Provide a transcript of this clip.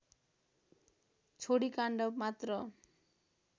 छोडी काण्ड मात्र